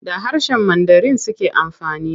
Da harshen Mandarin suke amfani.